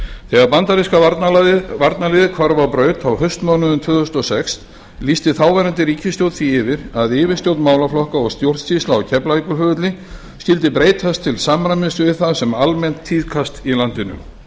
þegar bandaríska varnarliðið hvarf á braut á haustmánuðum tvö þúsund og sex lýsti þáverandi ríkisstjórn því yfir að yfirstjórn málaflokka og stjórnsýsla á keflavíkurflugvelli skyldi breytast til samræmis við það sem almennt tíðkast í landinu